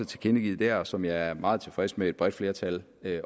tilkendegivet og som jeg er meget tilfreds med at et bredt flertal